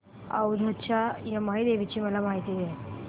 औंधच्या यमाई देवीची मला माहिती दे